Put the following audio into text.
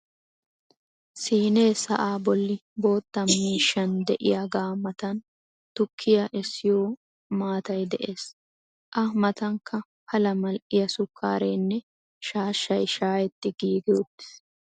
siinee sa'aa boli bootta miishshan diyagaa matan tukkiya essiyo maatay de'es. a matankka pala maliya sukaareenne shaashshay shaayetti giigi uttiis.